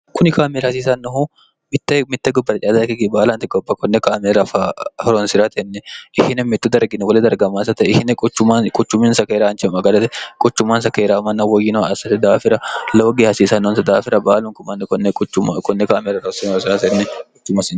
kuni kaamelra hasiisannohu mitte mitte gubbaracaada ikkigi baalanti goba konne kaamera horonsi'ratenni ihine mittu dargino gole dargamaasate ihine quchuminsa keeraanche maganate quchumansa keeraamanna woyyinoh assate daafira lawoge hasiisannonsa daafira baalunkumanni konne kaamera ro hornniuc